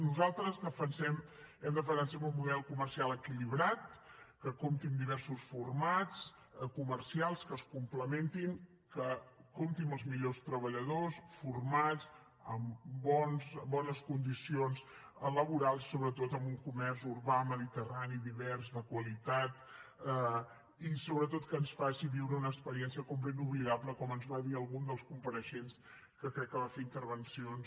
nosaltres defensem hem defensat sempre un model comercial equilibrat que compti amb diversos formats comercials que es complementin que compti amb els millors treballadors formats amb bones condicions laborals i sobretot amb un comerç urbà mediterrani divers de qualitat i sobretot que ens faci viure una experiència de compra inoblidable com ens va dir algun dels compareixents que crec que va fer intervencions